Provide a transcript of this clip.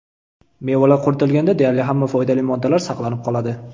Mevalar quritilganda deyarli hamma foydali moddalar saqlanib qoladi.